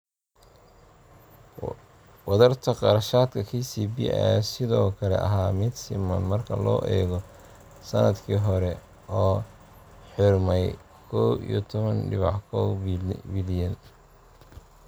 Wadarta kharashaadka KCB ayaa sidoo kale ahaa mid siman marka loo eego sannadkii hore oo xidhmay kow iyo toban dibic kow bilyan.